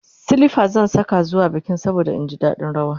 silifas zan Saka zuwa bikin saboda in ji daɗin rawa